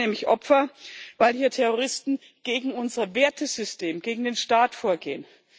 Sie werden nämlich Opfer, weil hier Terroristen gegen unser Wertesystem, gegen den Staat vorgehen.